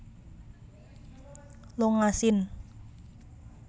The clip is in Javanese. longa sin